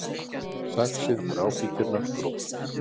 Saxið gráfíkjurnar gróft